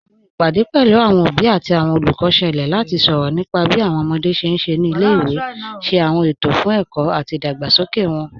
Awọn ìpadẹ̀ pẹ̀lú awọn obì àti awọn olùkọ́ ṣẹ̀lẹ̀ láti sọrọ̀ nípà bí awọn ọmọdé ṣé n ṣé ní ilẹ̀-ìwé, ṣé awọn ètò fún ẹ̀kọ̀ àti ìdágbàsókè wọn.